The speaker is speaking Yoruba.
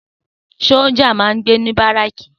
Sójà máa n gbé ní báràkì